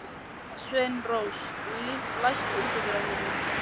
Sveinrós, læstu útidyrunum.